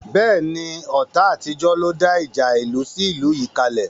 Bẹ́ẹ̀ni, ọ̀tá àtijọ́ ló dá ìjà ìlú sí ìlú yìí kale